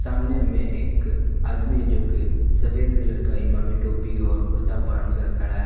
सामने में एक आदमी जो कि सफेद कलर का इमामी टोपी और कुर्ता पहन कर खड़ा है।